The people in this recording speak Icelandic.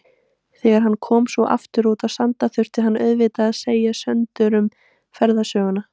Þegar hann kom svo aftur út á Sand þurfti hann auðvitað að segja Söndurum ferðasöguna.